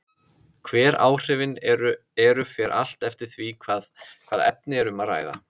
Hver áhrifin eru fer allt eftir því hvaða efni er um að ræða.